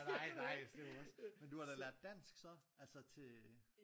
Nej nej det er jo også men du har da lært dansk så? Altså til